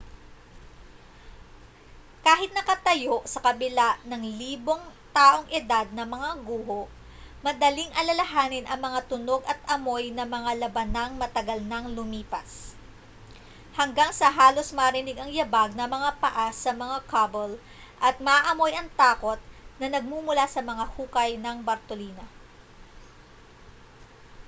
kahit nakatayo sa kabila ng libong taong edad na mga guho madaling alalahanin ang mga tunog at amoy ng mga labanang matagal nang lumipas hanggang sa halos marinig ang yabag ng mga paa sa mga cobble at maamoy ang takot na nagmumula sa mga hukay ng bartolina